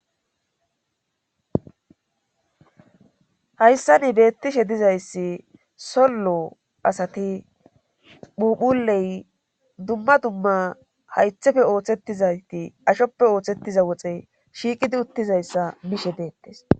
Hayssa ni beettishe dizayssi sollo asati phuphuley dumma dumma haythefe ooththettizati ashoppe ooththettiza woxe shiiqidi uttizayssa bishe beettes.